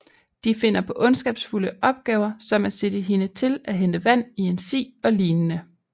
De finder på ondskabsfulde opgaver som at sætte hende til at hente vand i en si og lignende